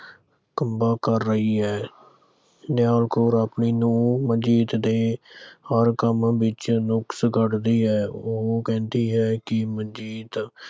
ਕਰ ਰਹੀ ਹੈ। ਨਿਹਲਾ ਕੌਰ ਆਪਣੀ ਨੂੰਹ ਮਨਜੀਤ ਦੇ ਹਰ ਕੰਮ ਵਿੱਚ ਨੁਕਸ ਕੱਢਦੀ ਹੈ। ਉਹ ਕਹਿੰਦੀ ਹੈ ਕਿ ਮਨਜੀਤ